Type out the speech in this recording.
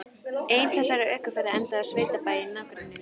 Ein þessara ökuferða endaði á sveitabæ í nágrenni við